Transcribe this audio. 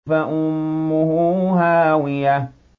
فَأُمُّهُ هَاوِيَةٌ